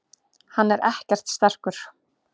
Hann er ekkert sterkur.